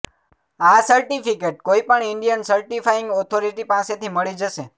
આ સર્ટિફિકેટ કોઇ પણ ઇન્ડિયન સર્ટિફાઇંગ ઓથોરિટી પાસેથી મળી જશે